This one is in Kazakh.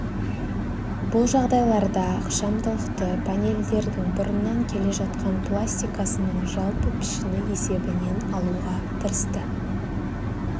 бұл жағдайларда ықшамдылықты панельдердің бұрыннан келе жатқан пластикасының жалпы пішіні есебінен алуға тырысты